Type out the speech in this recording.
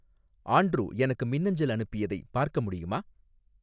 Andrew எனக்கு மின்னஞ்சல் அனுப்பியதைப் பார்க்க முடியுமா